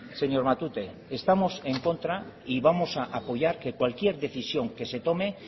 señor matute estamos en contra y vamos a apoyar que cualquier decisión que se tome